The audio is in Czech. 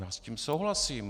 Já s tím souhlasím.